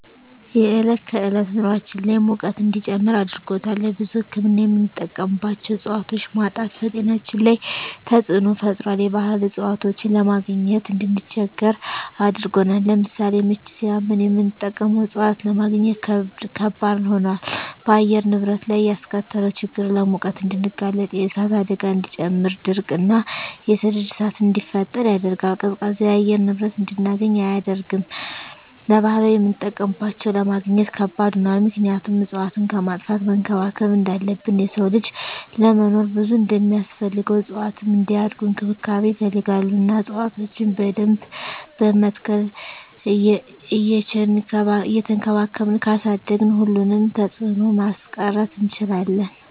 የዕለት ከዕለት ኑራችን ላይ ሙቀት እንዲጨምር አድርጎታል። ለብዙ ህክምና የምንጠቀማቸው እፅዋቶች ማጣት በጤናችን ላይ ተፅዕኖ ፈጥሯል የባህል እፅዋቶችን ለማግኘት እንድንቸገር አድርጎናል። ለምሳሌ ምች ሳመን የምንጠቀመው እፅዋት ለማግኘት ከበድ ሆኗል። በአየር ንብረት ላይ ያስከተለው ችግር ለሙቀት እንድንጋለጥ የእሳት አደጋን እንዲጨምር ድርቅ እና የሰደድ እሳትን እንዲፈጠር ያደርጋል። ቀዝቃዛ የአየር ንብረት እንድናገኝ አያደርግም። ለባህላዊ የምጠቀምባቸው ለማግኘት ከባድ ሆኗል ምክንያቱም እፅዋትን ከማጥፋት መንከባከብ እንዳለብን የሰው ልጅ ለመኖር ብዙ እንደማስፈልገው እፅዋትም እንዲያድጉ እንክብካቤ ይፈልጋሉ እና እፅዋቶችን በደንብ በመትከል እየቸንከባከብን ካሳደግን ሁሉንም ተፅዕኖ ማስቀረት እንችላለን።